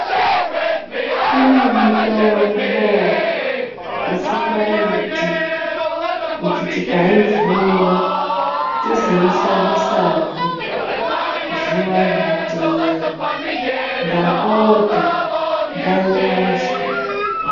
Kune mitombo isikaiti kuti tikaivhura tizoishandisa hee zuwa rinoteera ndapota ngairaswe .